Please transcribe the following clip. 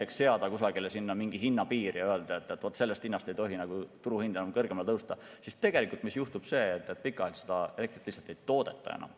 Kui seada kusagile mingi hinnapiir ja öelda, et vaat sellest hinnast ei tohi turuhind kõrgemale tõusta, siis tegelikult juhtub see, et pikaajaliselt seda elektrit lihtsalt ei toodeta enam.